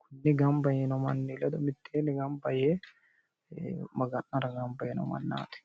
kuni gamaba yiino manni ledo mitteenni gamba yee maga'nara gamba yiino mannaati